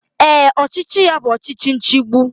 Ee, ọchịchị ya bụ ọchịchị nchigbu